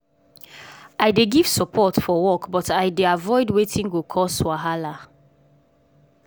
i dey give support forwork but i dey avoid wetin go cause wahala.